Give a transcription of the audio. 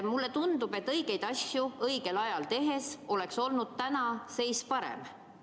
Mulle tundub, et õigeid asju õigel ajal tehes oleks tänane seis olnud parem.